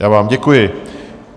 Já vám děkuji.